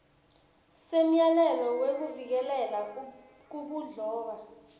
semyalelo wekuvikeleka kubudlova